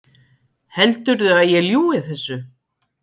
Heldurðu að ég ljúgi þessu?